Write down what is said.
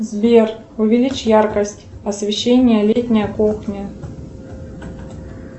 сбер увеличь яркость освещения летняя кухня